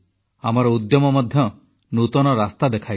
ଆମର ଉଦ୍ୟମ ମଧ୍ୟ ନୂତନ ରାସ୍ତା ଦେଖାଇଛି